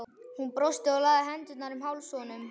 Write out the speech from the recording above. Hún brosti og lagði hendurnar um háls honum.